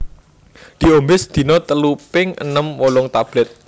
Diombé sedina telu ping enem wolung tablèt